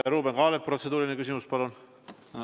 Ruuben Kaalep, protseduuriline küsimus, palun!